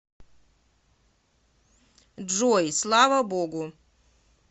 джой слава богу